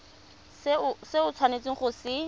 se o tshwanetseng go se